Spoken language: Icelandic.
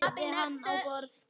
Lagði hann á borð.